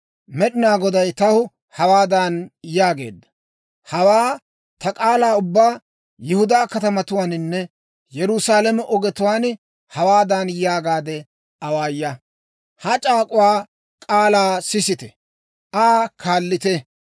Med'inaa Goday taw hawaadan yaageedda; «Hawaa ta k'aalaa ubbaa Yihudaa katamatuwaaninne Yerusaalame ogetuwaan hawaadan yaagaade awaaya; ‹Ha c'aak'uwaa k'aalaa sisite; Aa kaallite.